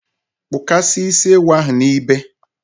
kpụkasịa isi ewu ahụ n’ibe!